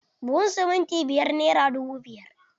Buhun simintin biyar nera dubu biyar.